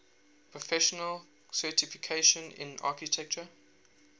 professional certification in architecture